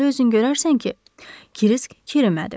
Onda özün görərsən ki, Kirisk kirimədi.